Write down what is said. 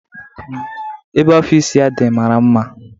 Ebe ọfịs ya dị mara mma